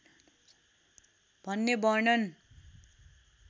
भन्ने वर्णन